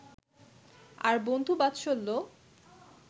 আর বন্ধুবাৎসল্য